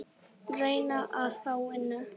Reyna að fá vinnu?